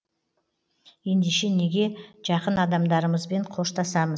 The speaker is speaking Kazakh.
ендеше неге жақын адамдарымызбен қоштасамыз